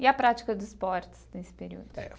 E a prática dos esportes nesse período?